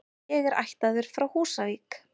Ég er ættaður frá Húsavík.